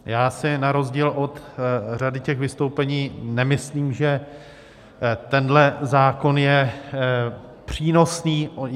Já si na rozdíl od řady těch vystoupení nemyslím, že tenhle zákon je přínosný.